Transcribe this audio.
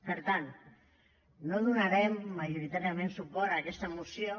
per tant no donarem majoritàriament suport a aquesta moció